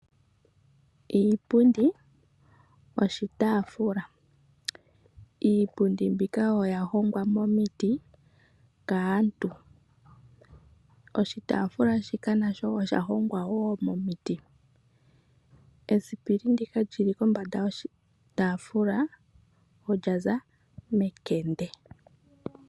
Iipundi, oshitaafula. Iipundi mbika oya hongwa momiti kaantu. Oshitaafula shika nasho osha hongwa wo momiti. Esipili ndika li li kombanda yoshitaafula olya za mekende.